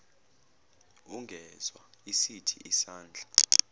ungezwa isithi sandla